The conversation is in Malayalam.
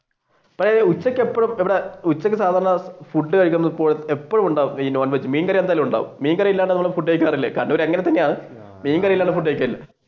ഉച്ചക്ക് എപ്പഴും ഇവിടെ ഉച്ചക്ക് സാധാരണ ഫുഡ് കഴിക്കുമ്പോൾ എപ്പഴും ഉണ്ടാവും non veg മീൻകറി എന്തായാലും ഉണ്ടാവും മീൻകറി ഇല്ലാതെ ഫുഡ് കഴിക്കാറില്ല കണ്ണൂർ. അങ്ങനെ തന്നെയാണ് മീൻകറി ഇല്ലാതെ ഫുഡ്